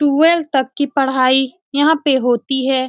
Twelve तक की पढ़ाई यहाँ पे होती है।